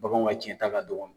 Baganw ka cɛnta ka dɔgɔ.